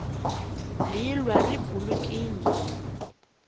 vhilwa ri bulekini